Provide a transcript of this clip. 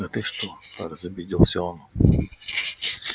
да ты что разобиделся он